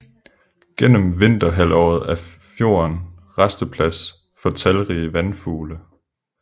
Gennem vinterhalvåret er fjorden rasteplads for talrige vandfugle